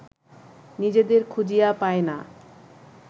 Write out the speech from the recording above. নিজেদের খুঁজিয়া পায় না